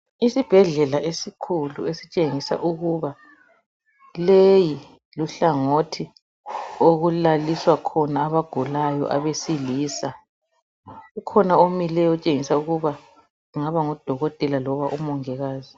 Isibhedlela esikhulu, esitshengisa ukuba leyi luhlangothi okulaliswa khona, abagulayo abesilisa. Kukhona omileyo. Otshengisa ukuba angaba ngudokotela, loba umongikazi.